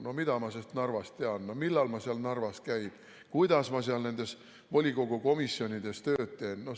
No mida ma sest Narvast tean, millal ma seal Narvas käin, kuidas ma seal nendes volikogu komisjonides tööd teen!